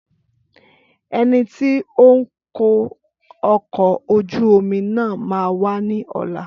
Ẹnití ó ń kó ọkọ̀ ojú omi náà máa wá ní ọ̀la